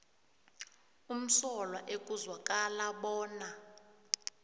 umsolwa ekuzwakala bona